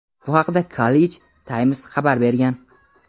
Bu haqda "Khaleej Times" xabar bergan.